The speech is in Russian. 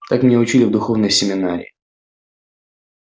так меня учили в духовной семинарии